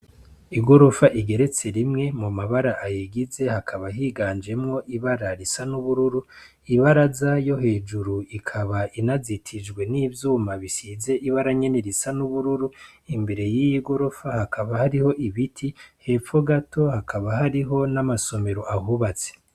Igorofa igeretse rimwe, mum'amabara ayigize hakaba higanjemwo ibara risa n'ubururu, ibaraza yo hejuru ikaba inazitijwe n'ivyuma bisize n'ibara risa nyene n'ubururu, imbere y'iyi gorofa hakaba hariho ibiti, hepfo gato hakaba hariho n'amasomero ahubatse.